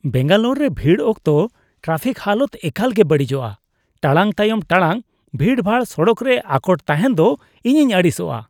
ᱵᱮᱝᱜᱟᱞᱳᱨ ᱨᱮ ᱵᱷᱤᱲ ᱚᱠᱛᱚ ᱴᱨᱟᱯᱷᱤᱠ ᱦᱟᱞᱚᱛ ᱮᱠᱟᱞ ᱜᱮ ᱵᱟᱹᱲᱤᱡᱯᱜᱼᱟ ᱾ ᱴᱟᱲᱟᱝ ᱛᱟᱭᱚᱢ ᱴᱟᱲᱟᱝ ᱵᱷᱤᱲᱼᱵᱷᱟᱲ ᱥᱚᱲᱚᱠ ᱨᱮ ᱟᱠᱚᱴ ᱛᱟᱦᱮᱱ ᱫᱚ ᱤᱧᱤᱧ ᱟᱹᱲᱤᱥᱟᱜᱼᱟ ᱾